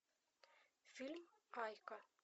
фильм айка